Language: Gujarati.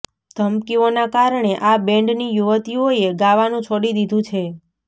ધમકીઓના કારણે આ બેન્ડની યુવતીઓએ ગાવાનું છોડી દીધું છે